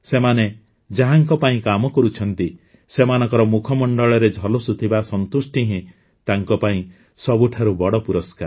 ସେମାନେ ଯାହାଙ୍କ ପାଇଁ କାମ କରୁଛନ୍ତି ସେମାନଙ୍କ ମୁଖମଣ୍ଡଳରେ ଝଲସୁଥିବା ସନ୍ତୁଷ୍ଟି ହିଁ ତାଙ୍କ ପାଇଁ ସବୁଠାରୁ ବଡ଼ ପୁରସ୍କାର